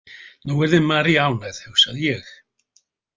Nú yrði María ánægð, hugsaði ég.